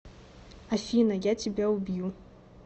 афина я тебя убью